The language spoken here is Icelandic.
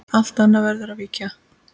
Allt annað verður að víkja.